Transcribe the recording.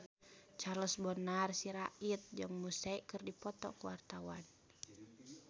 Charles Bonar Sirait jeung Muse keur dipoto ku wartawan